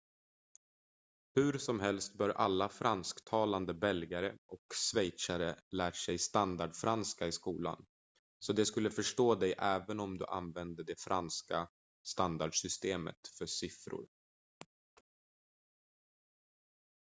hur som helst bör alla fransktalande belgare och schweizare lärt sig standardfranska i skolan så de skulle förstå dig även om du använde det franska standardsystemet för siffror